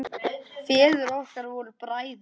Feður okkar voru bræður.